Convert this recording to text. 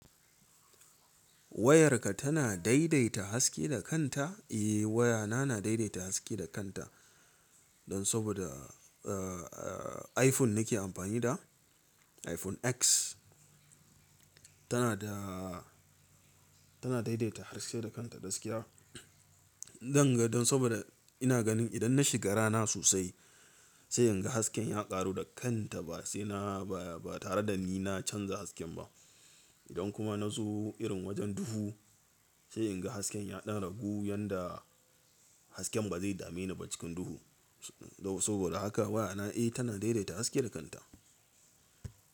Wayarka tana daidaita haske da kanta? Eh wayana na daidaita haske da kanta. Don saboda, eh, eh iPhone nake amfani da, iPhone X. Tana da, tana daidaita haske da kanta gaskiya. Don, don saboda ina ganin idan na shiga rana sosai, sai in ga hasken ya ƙaru da kanta ba sai na ba, ba tare da ni na canza hasken ba. Idan kuma na zo irin wajen duhu, sai in ga hasken ya ɗan ragu yanda hasken ba zai dame ni ba cikin duhu. Saboda haka wayana eh tana daidaita haske da kanta.